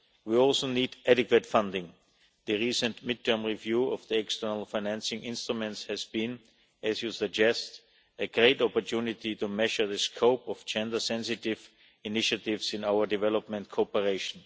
We also need adequate funding. The recent midterm review of the external financing instruments has been, as you suggest, a great opportunity to measure the scope of gender sensitive initiatives in our development cooperation.